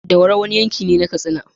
Daura wani yankine na katsina